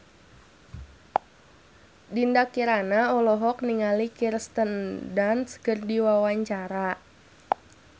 Dinda Kirana olohok ningali Kirsten Dunst keur diwawancara